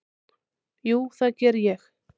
Já, það geri ég.